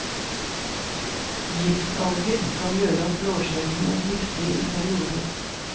Giftalger kan gjøre at blåskjellene er giftige i perioder.